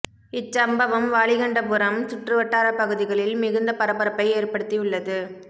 இச் சம்பவம் வாலிகண்டபுரம் சுற்றுவட்டார பகுதிகளில் மிகுந்த பரபரப்பை ஏற்படுத்தியுள்ளது